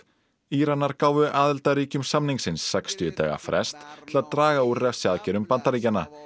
Íranar gáfu aðildarríkjum samningsins sextíu daga frest til að draga úr refsiaðgerðum Bandaríkjanna